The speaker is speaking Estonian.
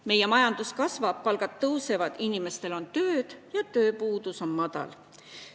Meie majandus kasvab, palgad tõusevad, inimestel on tööd ja tööpuudus on väike.